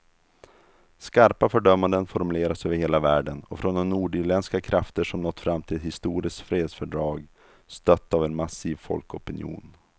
Skarpa fördömanden formuleras över hela världen och från de nordirländska krafter som nått fram till ett historiskt fredsfördrag, stött av en massiv folkopinion.